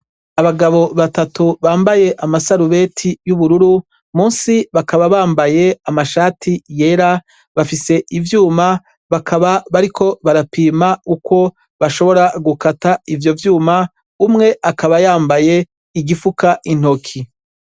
Abagabo batatu bambaye amasarubeti y'ubururu, munsi bakaba bambaye amashati yera, bafise ivyuma bakaba bariko barapima uko bashobora gukata ivyo vyuma. Umwe akaba yambaye igifuka intoki.